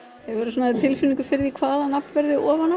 hefur þú tilfinningu fyrir því hvaða nafn verður ofan á